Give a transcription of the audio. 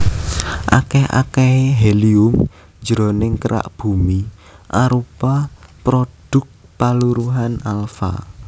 Akèh akèhé helium jroning kerak Bumi arupa prodhuk paluruhan alfa